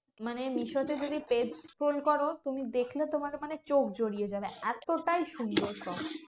মানে মিশো তে যদি page scroll করো তুমি দেখলে তোমার মানে চোখ জড়িয়ে যাবে, এতটাই সুন্দর সব।